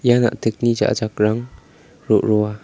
ia na·tikni ja·a jakrang ro·roa.